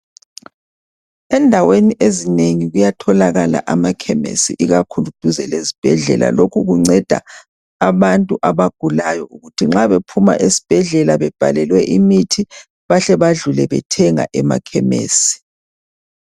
Endaweni ezinengi kuyatholakala amakhemesi ikakhulu duze lezibhedlela lokhu kunceda abantu abagulayo ukuthi nxa bephuma esibhedlela bebhalelwe imithi bahle badlule bethenga emakhemesi.